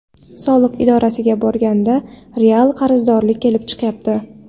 Soliq idorasiga borganda real qarzdorlik kelib chiqyapti.